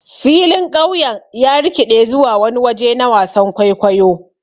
Filin ƙauyen ya rikiɗe zuwa wani waje na wasan kwaikwayo.